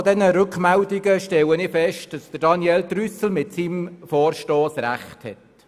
Anhand dieser Rückmeldungen stelle ich fest, dass Daniel Trüssel mit seinem Vorstoss Recht hat.